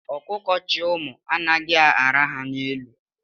Ọkụkọ chị ụmụ anaghị araha n'elu.